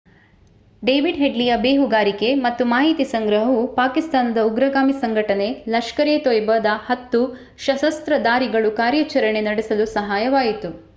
David ಹೆಡ್ಲಿಯ ಬೇಹುಗಾರಿಕೆ ಮತ್ತು ಮಾಹಿತಿ ಸಂಗ್ರಹವು ಪಾಕಿಸ್ತಾನದ ಉಗ್ರಗಾಮಿ ಸಂಘಟನೆ ಲಷ್ಕರ್ ಎ ತೊಯ್ಬಾದ 10 ಸಶಸ್ತ್ರಧಾರಿಗಳು ಕಾರ್ಯಾಚರಣೆ ನಡೆಸಲು ಸಹಾಯವಾಯಿತು